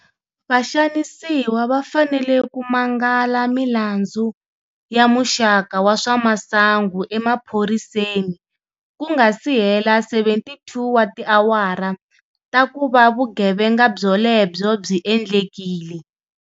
Vaxanisiwa va fanele ku mangala milandzu ya muxaka wa swa masangu emaphoriseni ku nga si hela 72 wa tiawara ta ku va vugevenga byolebyo byi endlekile.